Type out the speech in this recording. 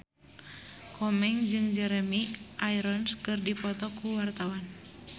Komeng jeung Jeremy Irons keur dipoto ku wartawan